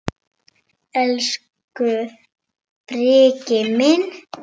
Elsku Breki minn.